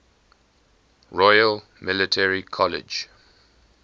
royal military college